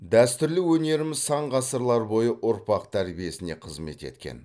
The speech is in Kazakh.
дәстүрлі өнеріміз сан ғасырлар бойы ұрпақ тәрбиесіне қызмет еткен